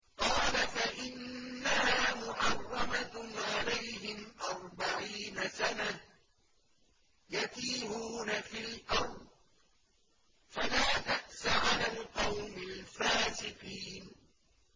قَالَ فَإِنَّهَا مُحَرَّمَةٌ عَلَيْهِمْ ۛ أَرْبَعِينَ سَنَةً ۛ يَتِيهُونَ فِي الْأَرْضِ ۚ فَلَا تَأْسَ عَلَى الْقَوْمِ الْفَاسِقِينَ